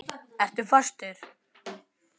Ertu fastur?